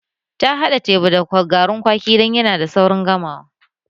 Ta haɗa teba da garin kwaki dan yana da saurin gamawa